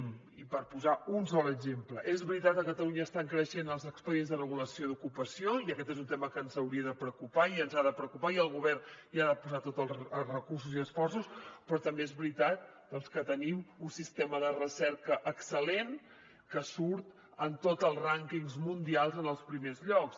i per posar un sol exemple és veritat que a catalunya estan creixent els expedients de regulació d’ocupació i aquest és un tema que ens hauria de preocupar i ens ha de preocupar i el govern hi ha de posar tots els recursos i esforços però també és veritat doncs que tenim un sistema de recerca excel·lent que surt en tots els rànquings mundials en els primers llocs